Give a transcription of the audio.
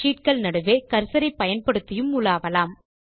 நsheet கள் நடுவே கர்சர் பயன்படுத்தியும் உலாவலாம்